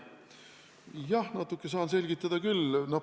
Jah, natuke saan selgitada küll.